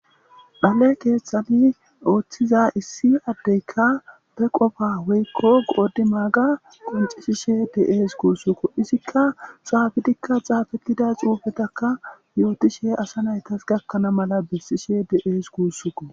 Dhale keeththati ooththiza issi addekka be qofa woykko qodimaaga qonccisishe de7ees guussikko. Izikka xaafidika xaafetida xuufetakka yootishe asa naytas gakana mala besishe de7es guussikko